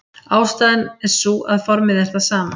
Ástæðan er sú að formið er það sama.